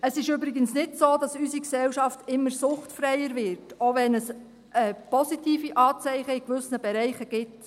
Es ist übrigens nicht so, dass unsere Gesellschaft immer suchtfreier wird, auch wenn es positive Anzeichen in gewissen Bereichen gibt.